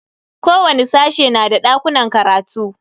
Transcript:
Kowani sashe na da dakunan karatu.